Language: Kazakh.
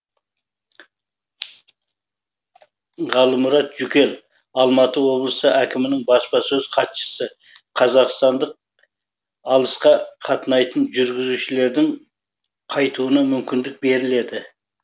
ғалымұрат жүкел алматы облысы әкімінің баспасөз хатшысы қазақстандық алысқа қатынайтын жүргізушілердің қайтуына мүмкіндік беріледі